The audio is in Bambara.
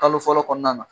Kalo fɔlɔ kɔnɔna na